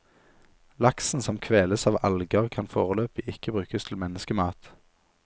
Laksen som kveles av alger, kan foreløpig ikke brukes til menneskemat.